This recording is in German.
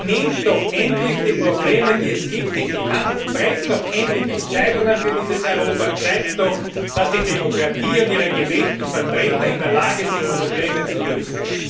Nehmt doch endlich die Probleme, die es gibt, in die Hand, trefft doch endlich Entscheidungen für dieses Europa, zeigt doch, dass die Demokratie und ihre gewählten Vertreter in der Lage sind, Probleme zu lösen.